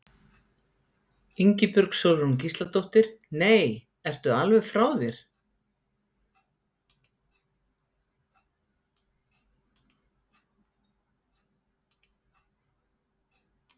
Ingibjörg Sólrún Gísladóttir: Nei, ertu alveg frá þér?